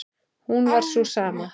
hún var sú sama.